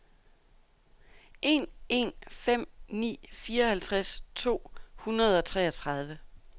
en en fem ni fireoghalvtreds to hundrede og treogtredive